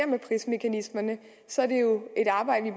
med prismekanismerne så er det jo et arbejde